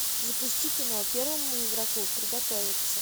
запусти кино первому игроку приготовится